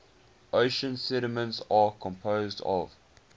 ocean sediments are composed of